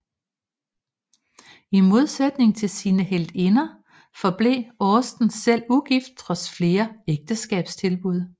I modsætning til sine heltinder forblev Austen selv ugift trods flere ægteskabstilbud